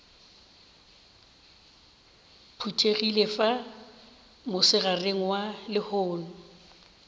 phuthegile fa mosegareng wa lehono